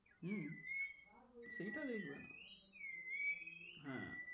হম সেইটা দেখবে না।